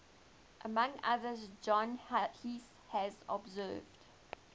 among others john heath has observed